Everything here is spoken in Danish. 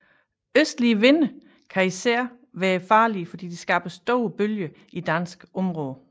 Østlige vinde kan især være farlige fordi de skaber store bølger i dansk område